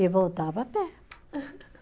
E voltava a pé.